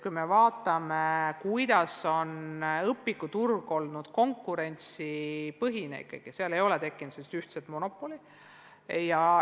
Õpikuturg on olnud ikkagi konkurentsipõhine, ei ole tekkinud sellist ühtset monopoli.